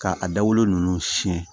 K'a dabɔlen ninnu siyɛn